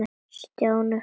Stjáni varð fyrstur fram.